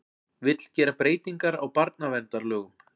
Vill gera breytingar á barnaverndarlögum